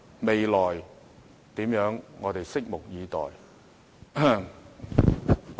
未來會怎樣，我們拭目以待。